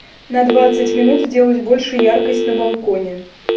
на двадцать минут сделать больше яркость на балконе